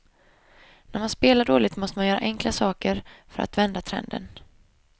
När man spelar dåligt måste man göra enkla saker för att vända trenden.